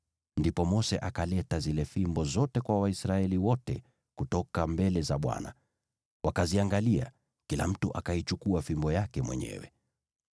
Ndipo Mose akaleta zile fimbo zote kwa Waisraeli wote kutoka mbele za Bwana . Wakaziangalia, na kila mtu akaichukua fimbo yake mwenyewe.